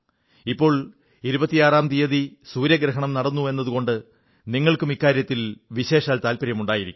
ഇപ്പോൾ 26ാം തീയതി സൂര്യഗ്രഹണം നടന്നുവെന്നതുകൊണ്ട് നിങ്ങൾക്കും ഇക്കാര്യത്തിൽ വിശേഷാൽ താത്പര്യമുണ്ടായിരിക്കും